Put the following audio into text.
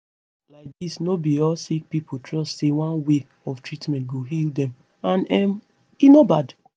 laidis no be all sick pipo trust say one way of treatment go heal dem and um e no bad